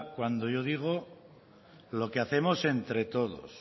cuando yo digo lo que hacemos entre todos